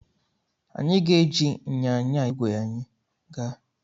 Anyị ga-eji ịnyịnya igwe anyị aga.